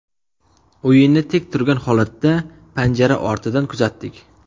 O‘yinni tik turgan holatda, panjara ortidan kuzatdik.